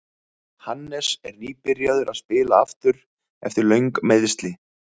Hannes er nýbyrjaður að spila aftur eftir löng meiðsli.